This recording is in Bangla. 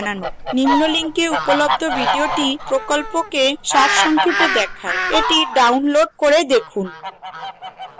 নিম্ন link উপলব্ধ video প্রকল্পকে সারসংক্ষেপে দেখায় the download করে দেখুন